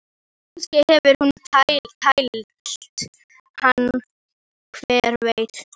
Kannski hefur hún tælt hann, hver veit?